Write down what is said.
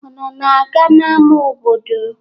Unu na-aga n'ama obodo?